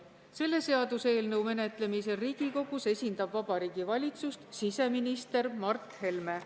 Selle seaduseelnõu menetlemisel Riigikogus esindab Vabariigi Valitsust siseminister Mart Helme.